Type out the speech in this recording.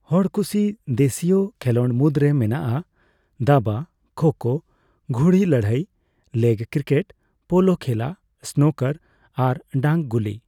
ᱦᱚᱲ ᱠᱩᱥᱤ ᱫᱮᱥᱤᱭ ᱠᱷᱮᱞᱳᱰ ᱢᱩᱫᱨᱮ ᱢᱮᱱᱟᱜᱼᱟ ᱫᱟᱵᱟ, ᱠᱷᱳᱼᱠᱷᱳ, ᱜᱷᱩᱲᱤ ᱞᱟᱹᱲᱦᱟᱹᱭ, ᱞᱮᱜ ᱠᱤᱨᱠᱮᱴ, ᱯᱳᱞᱳ ᱠᱷᱮᱞᱟ, ᱥᱱᱩᱠᱟᱨ ᱟᱨ ᱰᱟᱝ ᱜᱩᱞᱤ ᱾